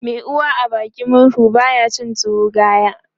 Mai uwa a bakin murhu baya cin tuwo gaya